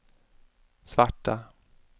svarta